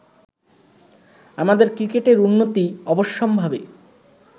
আমাদের ক্রিকেটের উন্নতি অবশ্যম্ভাবী